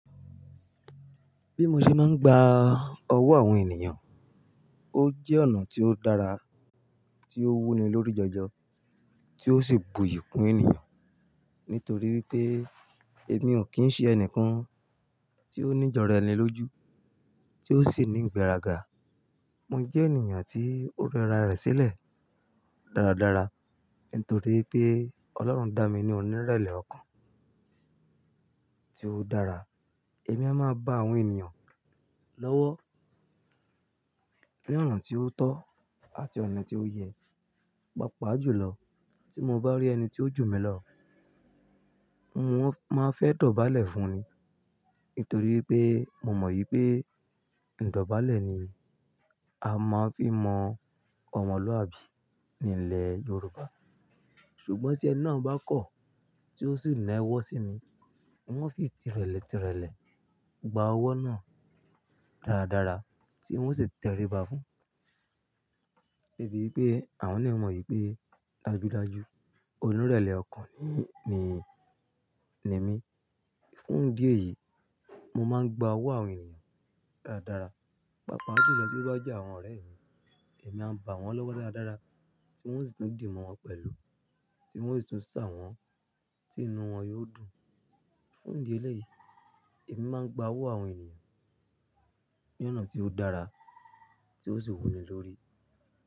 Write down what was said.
Bí mo ṣe máa ń gba ọwọ́ àwọn ènìyàn, ó jẹ́ ọ̀nà tí ó dára, tí ó wuni lórí jọjọ, tí ó sì buyì kún ènìyàn. Nítorí pé èmi ò kí ń ṣe ẹnìkan tí ó ní ìjọra ẹni lójú, tí ó sì ní ìgbéraga. Mo jẹ́ ènìyàn tí ó rẹra rẹ̀ sílẹ̀ dáradára. Nítorí pé Ọlọ́run dá mi ní onírẹ̀lẹ̀ ọkàn tí ó dára. Èmi á máa ba àwọn ènìyàn lọ́wọ́ ní ọ̀nà tí ó tọ́ àti ọ̀nà tí ó yẹ. Pàápàá jù lọ, tí mo bá rí ẹni tí ó jù mí lọ, mo máa ń fẹ́ dọ̀bálẹ̀ fun ni. Nítorí pé mo mọ̀ wípé ìdọ̀bálẹ̀ ni a máa ń fi mọ ọmọlúàbí ní ilẹ̀ Yorùbá. Ṣùgbọ́n tí ẹni náà bá kọ̀, tí ó sì nà ẹwọ̀ sí mi, n ó fi tìrẹ̀lẹ̀ tìrẹ̀lẹ̀ gba ọwọ́ náà dáradára tí n ó sì tẹríba fun. Débi wípé àwọn náà ó mọ̀ wípé dájúdájú onírẹ̀lẹ̀ ọkàn ni, ni, ni mí. Fún ìdí èyí, mo máa ń gba ọwọ́ àwọn èèyàn dáradára. Pàápàá jù lọ tí ó bá jẹ́ àwọn ọ̀rẹ́ mi, èmi a bà wọn lọ́wọ́ dáradára tí n ó sì tún dì mọ́ wọn pẹ̀lú, tí n ó sì tún sà wọ́n, tí inú wọn yóò dùn. Fún ìdí eléyìí, èmi máa ń gba ọwọ́ àwọn ènìyàn ní ọ̀nà tí ó dára tí ó sì wúni lórí.